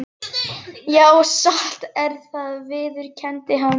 Já, satt er það, viðurkenndi hann.